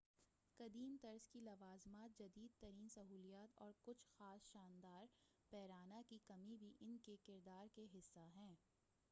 قدیم طرز کی لوازمات جدید ترین سہولیات اور کچھ خاص شاندار پیرانہ کی کمی بھی انکے کردار کے حصّے ہیں